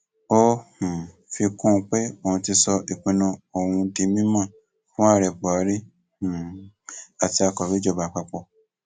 ó um fi kún un pé òun ti sọ ìpinnu òun yìí di mímọ fún ààrẹ buhari um àti akọwé ìjọba àpapọ